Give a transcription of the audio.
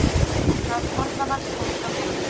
Það orðaval kom frá henni.